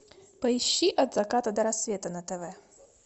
поищи от заката до рассвета на тв